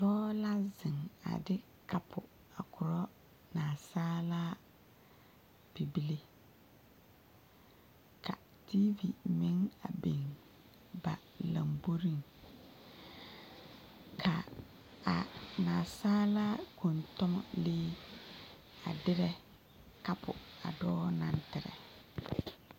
Dɔɔ la zeŋ a de kapo korɔ naasaalaa bibile ka tiivi meŋ a biŋ ba lomboriŋ ka a nansaala kɔntɔnlee a derɛ kapo a dɔɔ naŋ terɛ.